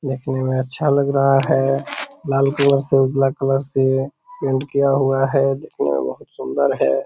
देखने मे अच्छा लग रहा है । लाल कलर से उजला कलर से पेंट किया हुआ है देखने मे बहुत सुंदर है ।